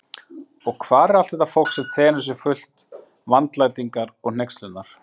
Og hvar er allt þetta fólk, sem þenur sig fullt vandlætingar og hneykslunar?